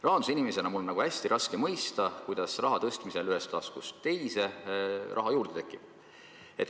Rahandusinimesena on mul hästi raske mõista, kuidas raha tõstmisel ühest taskust teise raha juurde tekib.